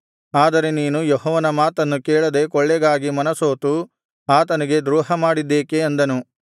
ಆದರೆ ನೀನು ಯೆಹೋವನ ಮಾತನ್ನು ಕೇಳದೆ ಕೊಳ್ಳೆಗಾಗಿ ಮನಸೋತು ಆತನಿಗೆ ದ್ರೋಹಮಾಡಿದ್ದೇಕೆ ಅಂದನು